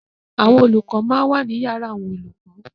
Àwọn olùkọ máa ń wà ní yàrá àwọn olùkọ.